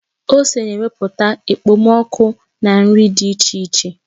Ose na-wepụta ekpomoku na nri dị iche iche